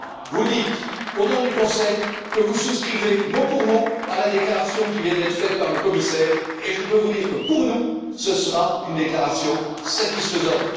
Vous dites, au nom du Conseil, que vous souscrivez mot pour mot à la déclaration qui vient d'être faite par le commissaire et je peux vous dire que, pour nous, ce sera une déclaration satisfaisante.